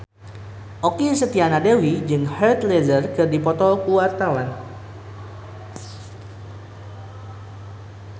Okky Setiana Dewi jeung Heath Ledger keur dipoto ku wartawan